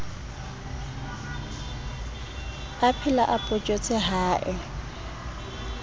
aphela o photjhotse ha e